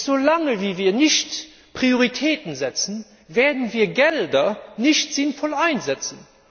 Solange wir keine Prioritäten setzen, werden wir Gelder nicht sinnvoll einsetzen.